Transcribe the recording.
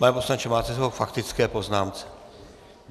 Pane poslanče, máte slovo k faktické poznámce.